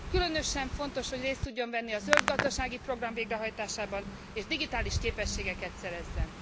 Különösen fontos, hogy részt tudjon venni a zöld gazdasági program végrehajtásában és digitális képességeket szerezzen.